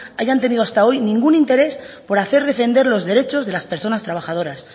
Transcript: hayan tenido hasta hoy ningún interés por hacer defender los derechos de las personas trabajadoras